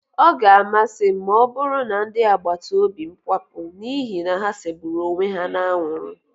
Ọ ga-amasị m ma ọbụrụ na ndị agbataóbị́ m kwapụ n'ihi na ha segburu onwe ha n'anwụrụ